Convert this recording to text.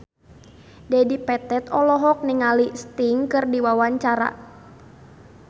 Dedi Petet olohok ningali Sting keur diwawancara